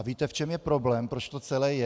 A víte, v čem je problém, proč to celé je?